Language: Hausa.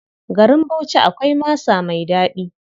Garin Bauchi akwai masa mai ɗaɗi.